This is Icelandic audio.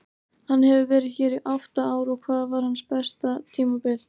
Hann hefur verið hér í átta ár og hvað var hans besta tímabil?